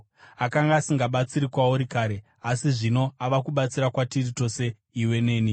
Akanga asingabatsiri kwauri kare, asi zvino ava kubatsira kwatiri tose iwe neni.